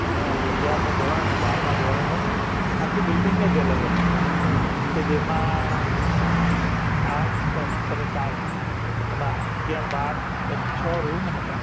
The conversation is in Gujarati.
નો અગિયાર મુ ધોરણ અને બારમાં ધોરણ ની આખી બિલ્ડીંગ જ અલગ હતી કે જેમાં arts commerce અને science એમાં અગિયાર બાર એમ છ રૂમ હતા